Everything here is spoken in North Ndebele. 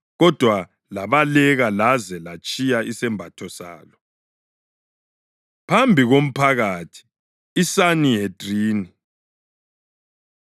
kodwa labaleka laze latshiya isembatho salo. Phambi KoMphakathi ISanihedrini